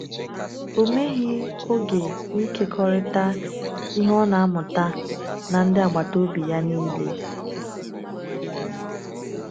Ọ meghị oge n’ịkekọrịta ihe ọ na-amụta na ndị agbata obi ya niile.